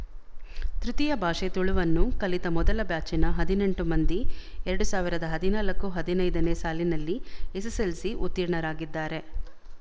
ತೃತೀಯ ಭಾಷೆ ತುಳುವನ್ನು ಕಲಿತ ಮೊದಲ ಬ್ಯಾಚಿನ ಹದಿನೆಂಟು ಮಂದಿ ಎರಡ್ ಸಾವಿರದ ಹದಿನಾಲ್ಕು ಹದಿನೈದನೇ ಸಾಲಿನಲ್ಲಿ ಎಸ್ಎಸ್ಎಲ್ಸಿ ಉತ್ತೀರ್ಣರಾಗಿದ್ದಾರೆ